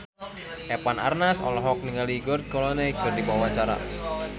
Eva Arnaz olohok ningali George Clooney keur diwawancara